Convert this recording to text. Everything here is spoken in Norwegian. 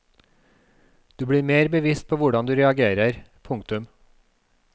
Du blir mer bevisst på hvordan du reagerer. punktum